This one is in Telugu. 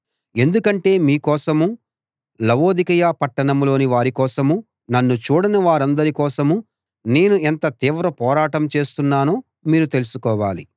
ఎందుకంటే మీ కోసమూ లవొదికయ పట్టణంలోని వారి కోసమూ నన్ను చూడని వారందరి కోసమూ నేను ఎంత తీవ్ర పోరాటం చేస్తున్నానో మీరు తెలుసుకోవాలి